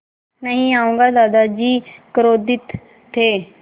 नहीं आऊँगा दादाजी क्रोधित थे